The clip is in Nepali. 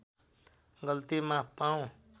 गल्ती माफ पाऊँ